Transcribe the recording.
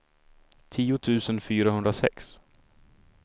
tio tusen fyrahundrasex